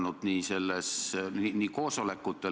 Lõpetan selle küsimuse käsitlemise.